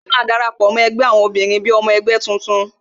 Lóla máa dara pọ, mó ẹgbẹ́ àwọn obìnrin gẹ́gẹ́ bí ọmọ ẹgbẹ́ tuntun